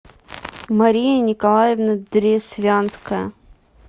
мария николаевна дресвянская